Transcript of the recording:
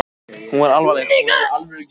Hún er alvarleg- hún er alvörugefin.